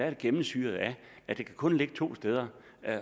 er gennemsyret af at det kun kan ligge to steder